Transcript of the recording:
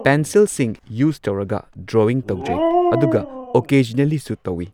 ꯄꯦꯟꯁꯤꯜꯁꯤꯡ ꯌꯨꯁ ꯇꯧꯔꯒ ꯗ꯭ꯔꯣꯋꯤꯡ ꯇꯧꯖꯩ ꯑꯗꯨꯒ ꯑꯣꯀꯦꯖꯅꯦꯜꯂꯤ ꯁꯨ ꯇꯧꯏ꯫